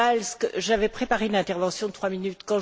Piebalgs, j'avais préparé une intervention de trois minutes.